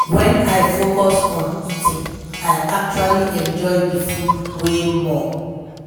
when i focus on eating i actually enjoy the food way more.